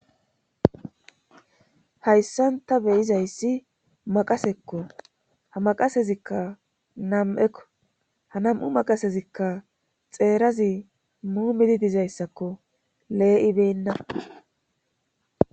Hayssanta beyizayssi maqasekko ha maqasezikka nam'ekko ha nam'u maqasezikka xeerazi muumidi dizayssakko lee'ibenna.